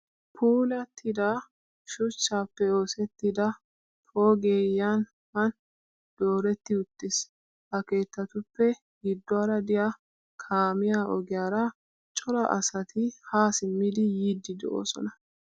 Puulattida shuchchaappe oosettida poogee Yan han dooretti uttis. Ha keettatuppe gidduwaara diya kaamiya ogiyaara cora asati haa simmidi yiiddi doosona.